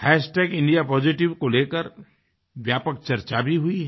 indiapositiveको लेकर व्यापक चर्चा भी हुई है